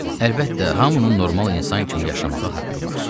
Əlbəttə, hamının normal insan kimi yaşamağa haqqı var.